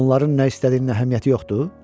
Onların nə istədiyinə əhəmiyyəti yoxdur?